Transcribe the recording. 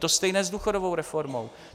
To stejné s důchodovou reformou.